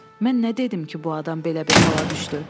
Mən nə dedim ki bu adam belə bir hala düşdü?